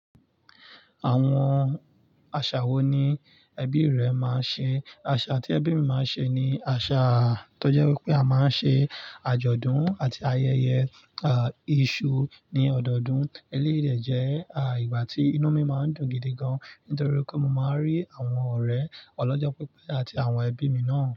Àwọn àṣà wo ni ẹbí rẹ máa ń ṣe? Àṣà tí ẹbí mi máa ń ṣe ni àṣà tó jẹ́ wípé a máa ń ṣe àjọ̀dún àti ayẹyẹ, isu ní ọdọọdún. Eléyìí dẹ̀ jẹ́, ìgbà tí inú mi máa ń dùn gidi gan nítorí pé mo máa ń rí àwọn ọ̀rẹ́ ọlọ́jọ́ pípé àti àwọn ẹbí mi náà.